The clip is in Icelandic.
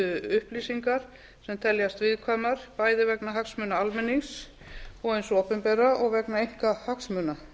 upplýsingar sem teljast viðkvæmar bæði vegna hagsmuna almennings og hins opinbera og vegna einkahagsmuna